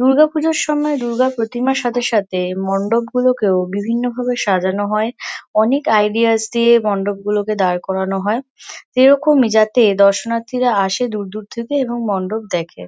দূর্গা পুজোর সময় দূর্গা প্রতিমার সাথে সাথে মণ্ডপগুলোকেও বিভিন্ন ভাবে সাজানো হয় অনেক আইডিয়াস দিয়ে মণ্ডপগুলোকে দাঁড় করানো হয় এরকমই যাতে দর্শনার্থীরা আসে দূর দূর থেকে এবং মণ্ডপ দেখে।